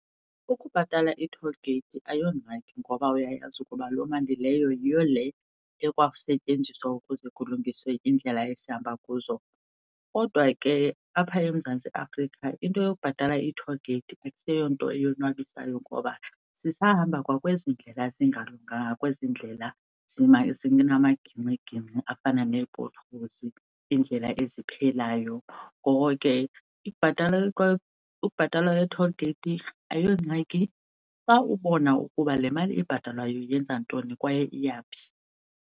Ukubhatala i-toll gate ayongxaki ngoba uyayazi ukuba loo mali leyo yiyo le ekwasetyenziswa ukuze kulungiswe iindlela esihamba kuzo. Kodwa ke apha eMzantsi Afrika into yokubhatala i-toll gate akuseyonto eyonwabisayo, ngoba sisahamba kwakwezi ndlela zingalunganga, kwezi ndlela zinamagingxigingxi afana nee-potholes, indlela eziphelayo. Ngoko ke ubhatalwa kwe-toll gate ayongxaki xa ubona ukuba le mali ibhatalwayo yenza ntoni kwaye iyaphi.